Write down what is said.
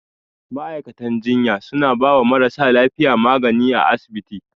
Ma'aikatan jinya suna bawa marasa lafiya magani a asibiti.